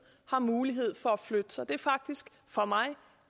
har mulighed for at flytte sig det er faktisk for mig